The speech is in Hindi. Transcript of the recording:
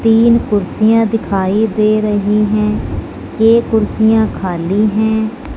तीन कुर्सियां दिखाई दे रही हैं ये कुर्सियां खाली हैं।